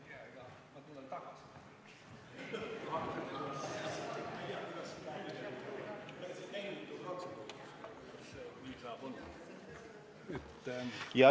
Aga ma tulen tagasi.